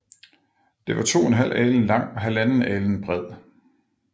Det var to en halv alen lang og halvanden alen bred